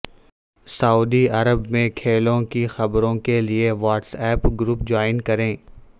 سعودی عرب میں کھیلوں کی خبروں کے لیے واٹس ایپ گروپ جوائن کریں